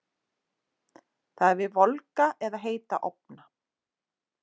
Það er við volga eða heita ofna.